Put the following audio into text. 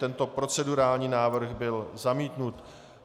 Tento procedurální návrh byl zamítnut.